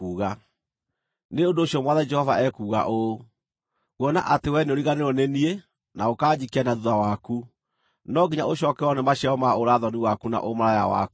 “Nĩ ũndũ ũcio Mwathani Jehova ekuuga ũũ: Kuona atĩ wee nĩũriganĩirwo nĩ niĩ na ũkanjikia na thuutha waku, no nginya ũcookererwo nĩ maciaro ma ũũra-thoni waku na ũmaraya waku.”